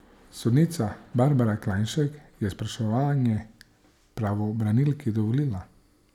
Sodnica Barbara Klajnšek je spraševanje pravobranilki dovolila.